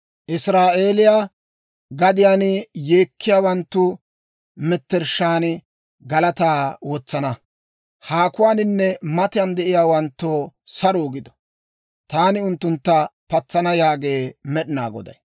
Israa'eeliyaa gadiyaan yeekkiyaawanttu mettershshaan galataa wotsana. Haakuwaaninne matan de'iyaawanttoo saruu gido. Taani unttuntta patsana» yaagee Med'inaa Goday.